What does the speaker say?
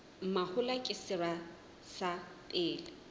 mahola ke sera sa pele